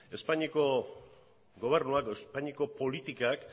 espainiako gobernuak edo espainiako politikak